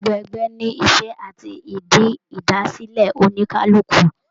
Gbogbo ẹgbẹ ní iṣẹ àti ìdí idasilẹ oníkálukú.